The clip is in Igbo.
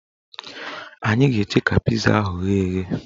Anyị ga-eche ka piza ahụ ghee eghe